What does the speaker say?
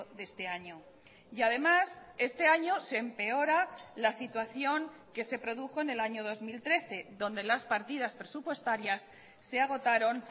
de este año y además este año se empeora la situación que se produjo en el año dos mil trece donde las partidas presupuestarias se agotaron